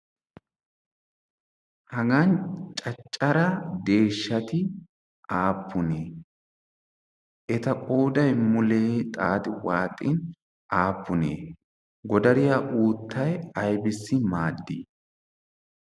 hagan caccara deeshshati aappunee? eta qoudai mulee xaaxi waaxin aappunee? godariyaa uuttai aibssi maaddii?